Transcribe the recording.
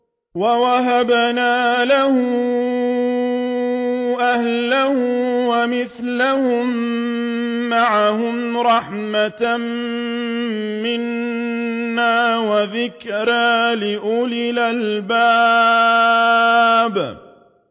وَوَهَبْنَا لَهُ أَهْلَهُ وَمِثْلَهُم مَّعَهُمْ رَحْمَةً مِّنَّا وَذِكْرَىٰ لِأُولِي الْأَلْبَابِ